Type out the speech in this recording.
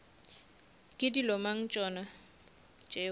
ke dilo mang tšona tšeo